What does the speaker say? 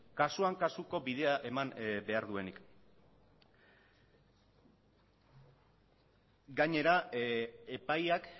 kasuan kasuko bidea eman behar duenik gainera epaiak